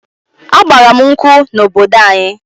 A gbara m nkwụ n'obodo anyi